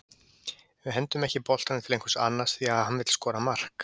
Við hendum ekki boltanum til einhvers annars því að hann vill skora mark.